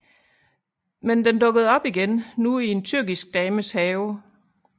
Men den dukkede op igen nu i en tyrkisk dames have